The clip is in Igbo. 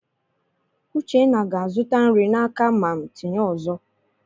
Uchenna ga-azụta nri n'aka mam tinye ọzọ.